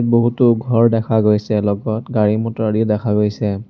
বহুতো ঘৰ দেখা গৈছে লগত গাড়ী মটৰ আদি দেখা গৈছে।